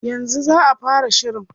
Yanzu za a fara shirin.